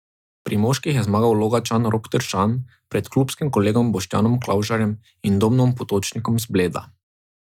Pri moških je zmagal Logatčan Rok Tršan pred klubskim kolegom Boštjanom Klavžarjem in Domnom Potočnikom z Bleda.